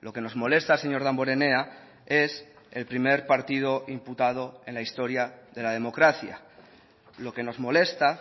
lo que nos molesta señor damborenea es el primer partido imputado en la historia de la democracia lo que nos molesta